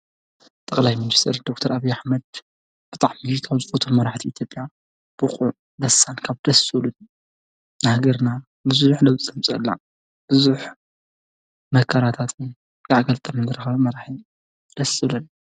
ጠቅላይ ሚኒስተር ዶክተር አብዪ ኣሕመድ ብጣዕሚ ካብ ዝፈትዎም መራሕቲ ኢትዮጵያ ብቁዕ፣ በሳል ካብ ደስ ዝብሉ ንሃገርና ብዙሕ ለውጢ ዘምፀአላ። ብዙሕ መከራታትን ጋዕ ገልጠምን ዝረከበ መራሒ እዩ። ደስ ይብ ለኒ።